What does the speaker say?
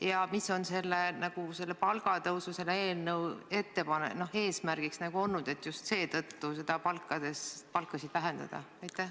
Ja mis on olnud selle eelnõu eesmärk ikkagi, et just seetõttu palkasid vähendada?